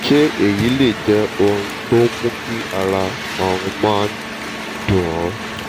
ṣé èyí lè jẹ́ ohun tó ń mú kí ara òun máa dun òun?